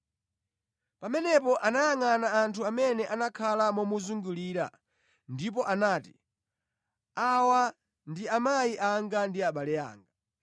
Pamenepo anayangʼana anthu amene anakhala momuzungurira ndipo anati, “Awa ndi amayi anga ndi abale anga!